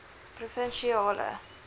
provinsiale